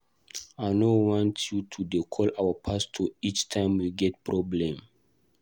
I no want you to dey call our pastor each time we get problem.